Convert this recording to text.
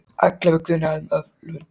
Ellefu grunaðir um ölvun